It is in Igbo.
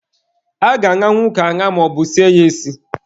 A ga-aṅanwu ọka aṅa maọbu sie ya esi.